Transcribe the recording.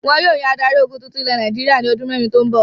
Wọn yóò yan adarí-ogun tuntun ilẹ̀ Nàìjíríà ní ọdún mẹ́rin tó ń bọ̀.